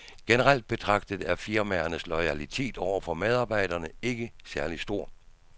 Generelt betragtet er firmaernes loyalitet over for medarbejderne ikke særlig stor.